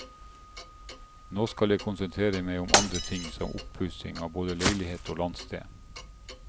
Nå skal jeg konsentrere meg om andre ting, som oppussing av både leilighet og landsted.